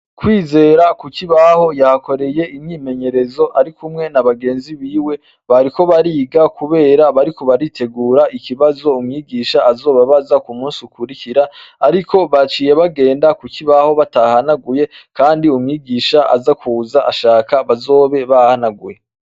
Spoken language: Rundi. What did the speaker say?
Kwizera kukibaho yahakoreye imyimenyerezo arikumwe na bagenzi biwe bariko bariga kubera baritegura ikibazo umwigisha azobabaza kumunsi ukurikira ariko baciye bagenda kukibaho batahahanaguye kandi umwigisha aza kuza ashaka bazobe bahahanaguye.